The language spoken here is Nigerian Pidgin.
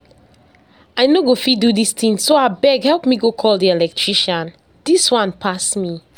I no go fit do dis thing so abeg help me go call the electrician. Dis one pass me